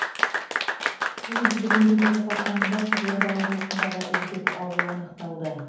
тәуелсіздік мерекесі қарсаңында қызылорда облысындағы үздік ауыл анықталды